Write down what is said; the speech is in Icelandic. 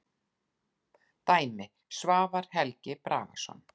Dæmi: Sævar Helgi Bragason.